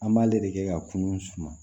An b'ale de kɛ ka kunun suma